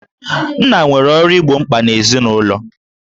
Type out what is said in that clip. Nna nwere ọrụ igbo mkpa ezinụlọ